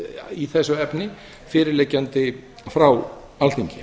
í þessu efni fyrirliggjandi frá alþingi